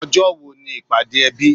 Ọjọ́ wo ni ìpàdé ẹbí?